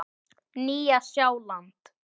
Nýja Sjáland